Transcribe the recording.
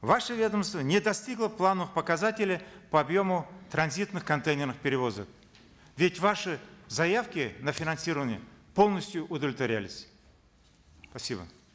ваше ведомство не достигло плановых показателей по объему транзитных контейнерных перевозок ведь ваши заявки на финансирование полностью удовлетворялись спасибо